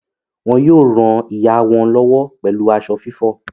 Wọ́n yóò ràn ìyá wọn lọ́wọ́ pẹ̀lú aṣọ fífọ̀.